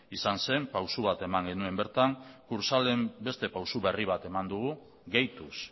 izan zen pausu bat eman genuen bertan kursaalen beste pausu bat berri bat eman dugu gehituz